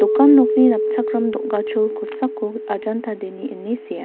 dokan nokni napchakram dogachol kosako ajanta dainy ine sea.